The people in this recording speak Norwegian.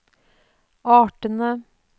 artene